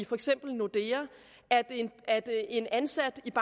for eksempel i nordea at en ansat i